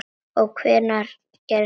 Og hvenær gerðist þetta?